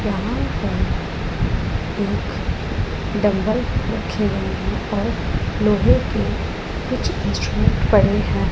यहां पर एक डंबल रखे हुए हैं और लोहे के कुछ इंस्ट्रूमेंट पड़े हैं।